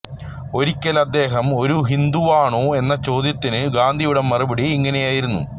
ഒരിക്കൽ അദ്ദേഹം ഒരു ഹിന്ദുവാണോ എന്ന ചോദ്യത്തിന് ഗാന്ധിയുടെ മറുപടി ഇങ്ങനെയായിരുന്നു